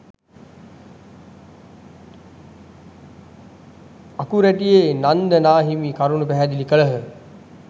අකුරැටියේ නන්ද නා හිමි කරුණු පැහැදිලි කළහ.